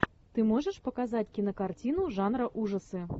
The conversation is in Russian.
ты можешь показать кинокартину жанра ужасы